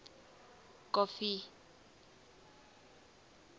kofi